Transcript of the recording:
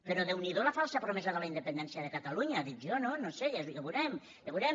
però déu n’hi do la falsa promesa de la independència de catalunya dic jo no no ho sé ja ho veurem ja ho veurem